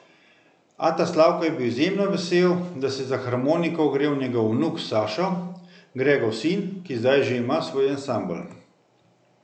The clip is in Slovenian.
Ata Slavko je bil izjemno vesel, da se je za harmoniko ogrel njegov vnuk Sašo, Gregov sin, ki zdaj že ima svoj ansambel.